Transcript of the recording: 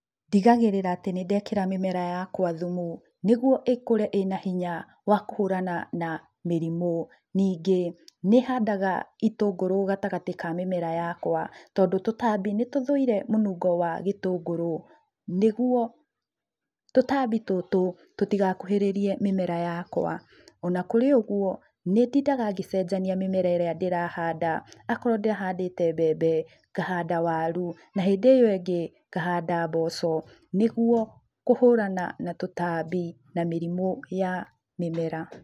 Ndigagĩrĩra atĩ nĩ ndekĩra mĩmera yakwa thumu, nĩguo ĩkũre ĩna hinya wa kũhũrana na mĩrimũ. Ningĩ nĩ handaga itũngũrũ gatagatĩ ka mĩmera yakwa, tondũ tũtambi nĩtũthũire mũnungo wa gĩtũngũrũ, nĩguo tũtambi tũtũ, tũtigakuhĩrĩrie mĩmera yakwa. Ona kũrĩ ũguo, nĩ ndindaga ngĩcenjania mĩmera ĩrĩa ndĩrahanda. Akorwo ndĩrahandĩte mbembe, ngahanda waru, na hĩndĩ ĩyo ĩngĩ, ngahanda mboco nĩguo kũhũrana na tũtambi na mĩrimũ ya mĩmera.